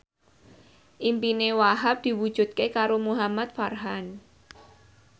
impine Wahhab diwujudke karo Muhamad Farhan